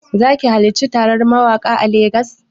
Zaki halarci taron mawaƙa a Lagos?